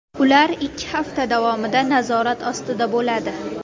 Ular ikki hafta davomida nazorat ostida bo‘ladi.